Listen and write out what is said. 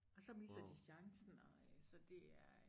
Og så misser de chancen og øh så det er